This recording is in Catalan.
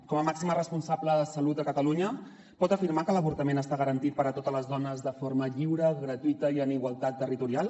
com a màxima responsable de salut a catalunya pot afirmar que l’avortament està garantit per a totes les dones de forma lliure gratuïta i en igualtat territorial